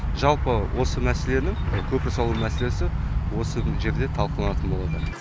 жалпы осы мәселені көпір салу мәселесі осы жерде талқыланатын болады